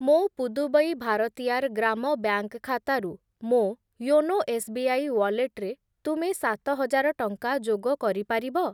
ମୋ ପୁଦୁବୈ ଭାରତିୟାର୍ ଗ୍ରାମ ବ୍ୟାଙ୍କ୍‌ ଖାତାରୁ ମୋ ୟୋନୋ ଏସ୍‌ବିଆଇ ୱାଲେଟ୍‌ରେ ତୁମେ ସାତ ହଜାର ଟଙ୍କା ଯୋଗ କରିପାରିବ?